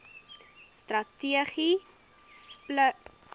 strategie sluit planne